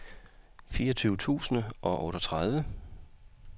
fireogtyve tusind og otteogtredive